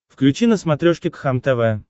включи на смотрешке кхлм тв